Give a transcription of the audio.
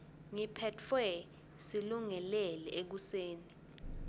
ngiphetfwe silungelele ekuseni